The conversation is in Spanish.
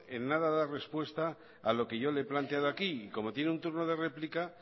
en nada da respuesta a lo que yo le he planteado aquí y como tiene un turno de réplica